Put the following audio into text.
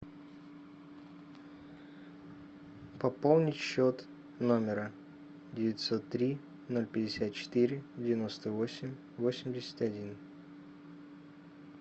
пополнить счет номера девятьсот три ноль пятьдесят четыре девяносто восемь восемьдесят один